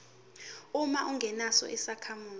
uma ungesona isakhamuzi